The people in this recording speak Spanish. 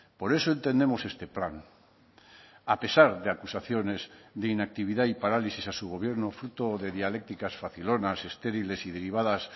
por eso entendemos este plan a pesar de acusaciones de inactividad y parálisis a su gobierno fruto de dialécticas facilonas estériles y derivadas